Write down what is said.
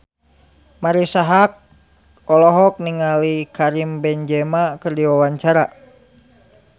Marisa Haque olohok ningali Karim Benzema keur diwawancara